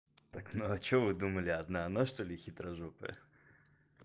так ну а что вы думали одна она что-ли хитрожопая